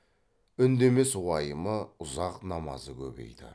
үндемес уайымы ұзақ намазы көбейді